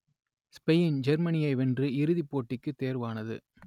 Spain ஜெர்மனியை வென்று இறுதிப் போட்டிக்குத் தேர்வானது